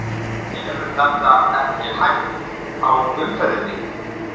Hefur þetta ekki svona hægt á umferðinni?